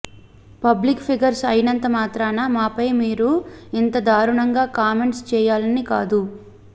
public figures అయినంత మాత్రాన మాపై మీరు ఇంత దారుణంగా కామెంట్స్ చేయాలని కాదు